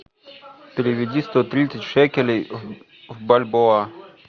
переведи сто тридцать шекелей в бальбоа